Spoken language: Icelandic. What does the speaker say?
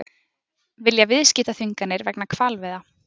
Vilja viðskiptaþvinganir vegna hvalveiða